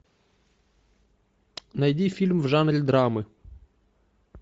найди фильм в жанре драмы